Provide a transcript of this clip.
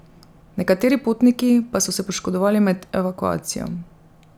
Nekateri potniki pa so se poškodovali med evakuacijo.